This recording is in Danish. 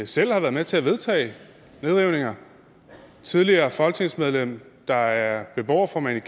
selv har været med til at vedtage nedrivninger et tidligere folketingsmedlem der er beboerformand i